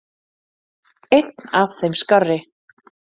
Einn af þeim skárri.